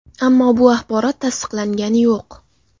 Ammo bu axborot tasdiqlangani yo‘q.